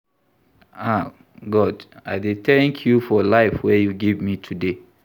Ah, God, I dey thank you for life wey you give me today.